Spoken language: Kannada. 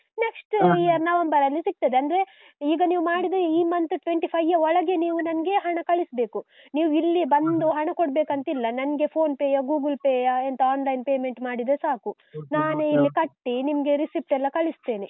Next year ನವೆಂಬರಲ್ಲಿ ಸಿಗ್ತದೆ. ಅಂದ್ರೆ, ಈಗ ನೀವ್ ಮಾಡಿದ್ರೆ ಈ month twenty-five ಯ ಒಳಗೆ ನೀವು ನಂಗೆ ಹಣ ಕಳಿಸ್ಬೇಕು. ನೀವು ಇಲ್ಲಿ ಬಂದುಹಣ ಕೊಡ್ಬೇಕಂತಿಲ್ಲ. ನನ್ಗೆ PhonePe ಯಾ, Google Pay ಯಾ, ಎಂತಾ online payment ಮಾಡಿದ್ರೆ ಸಾಕು. ನಾನೇ ಕಟ್ಟಿ, ನಿಮ್ಗೆ receipt ಎಲ್ಲಾ ಕಳಿಸ್ತೇನೆ.